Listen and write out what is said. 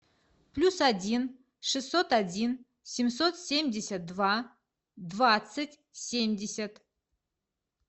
плюс один шестьсот один семьсот семьдесят два двадцать семьдесят